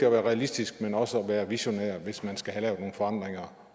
at være realistisk men også at være visionær hvis man skal have lavet nogle forandringer